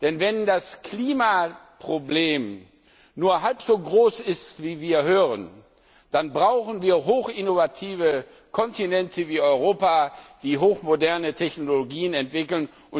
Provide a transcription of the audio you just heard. Denn wenn das Klimaproblem nur halb so groß ist, wie wir hören, dann brauchen wir hochinnovative Kontinente wie Europa, die hochmoderne Technologien entwickeln.